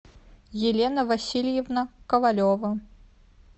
елена васильевна ковалева